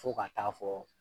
Fo ka taa fɔ